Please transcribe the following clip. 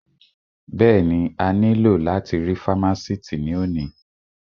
Bẹ́ẹ̀ni, a ní lò láti rí fámásìtì ní òní